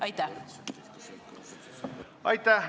Aitäh!